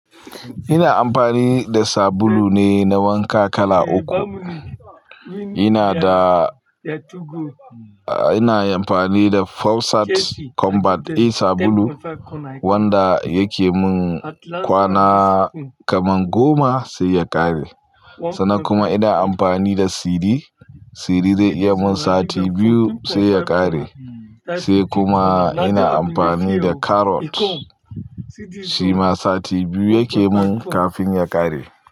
Ina amfani da sabulu ne na wanka kala uku. Ina da, ina amfani da Forsyt Combat A sabulu wanda yake mun kwana kaman goma sai ya ƙare. Sannan kuma ina amfani da Siri, Siri zai iya mun sati biyu sai ya ƙare, sai kuma ina amfani da Carrot shi ma sati biyu yake mun kafin ya ƙare.